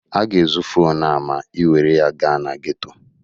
A ga-ezu fonu a ma ị were ya gaa na geto.